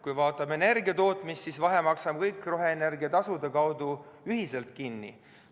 Kui vaatame energiatootmist, siis vahe maksame kõik roheenergia tasude näol ühiselt kinni.